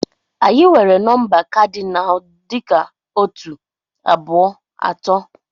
Anyị nwere nọmba kadinal dị ka otu, abụọ, atọ.